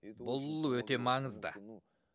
бұл өте маңызды